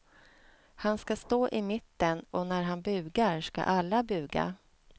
Han ska stå i mitten och när han bugar ska alla buga.